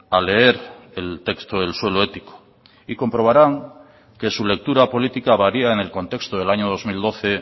a leer el texto del suelo ético y comprobarán que su lectura política varía en el contexto del año dos mil doce